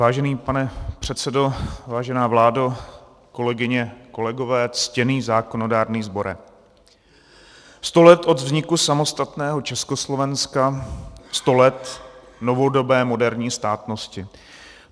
Vážený pane předsedo, vážená vládo, kolegyně, kolegové, ctěný zákonodárný sbore, sto let od vzniku samostatného Československa, sto let novodobé moderní státnosti.